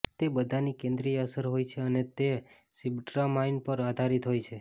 તે બધાની કેન્દ્રિય અસર હોય છે અને તે સિબટ્રામાઇન પર આધારિત હોય છે